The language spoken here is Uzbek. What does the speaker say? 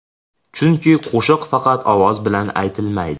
Chunki qo‘shiq faqat ovoz bilan aytilmaydi.